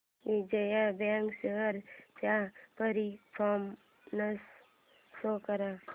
Vijaya bank shares चा performance show कर